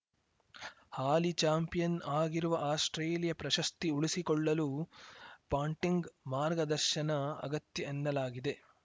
ಹಾಲಿ champion ಆಗಿರುವ Australia ಪ್ರಶಸ್ತಿ ಉಳಿಸಿಕೊಳ್ಳಲು ಪಾಂಟಿಂಗ್‌ ಮಾರ್ಗದರ್ಶನ ಅಗತ್ಯ ಎನ್ನಲಾಗಿದೆ